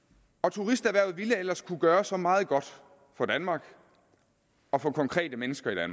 turisterhvervet ville ellers kunne gøre så meget godt for danmark og for konkrete mennesker i